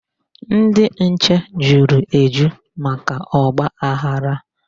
Ndị nche juru eju maka ọgbaghara.